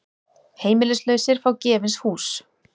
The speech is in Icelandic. Heimilislausir fá gefins hús